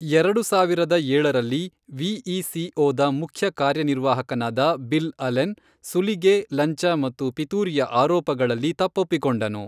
ಎರಡು ಸಾವಿರದ ಏಳರಲ್ಲಿ, ವಿಇಸಿಓದ ಮುಖ್ಯ ಕಾರ್ಯನಿರ್ವಾಹಕನಾದ ಬಿಲ್ ಅಲೆನ್, ಸುಲಿಗೆ, ಲಂಚ ಮತ್ತು ಪಿತೂರಿಯ ಆರೋಪಗಳಲ್ಲಿ ತಪ್ಪೊಪ್ಪಿಕೊಂಡನು.